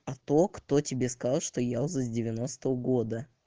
кто кто тебе сказал что я уже с девяностого года